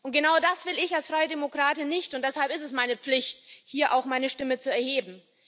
Und genau das will ich als Freidemokratin nicht, und deshalb ist es meine Pflicht, hier auch meine Stimme zu erheben.